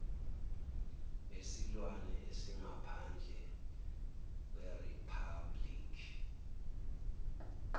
besilwane esingaphandle kweriphabhuliki